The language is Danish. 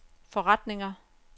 forretninger